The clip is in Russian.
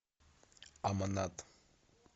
аманат